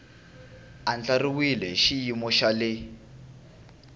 andlariwile hi xiyimo xa le